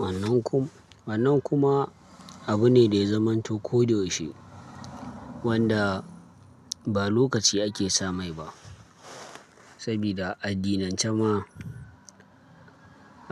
Wannan kuma, wannan kuma abu ne da ya zamanto ko da yaushe wanda ba lokaci ake sa mai ba. Saboda a addinance ma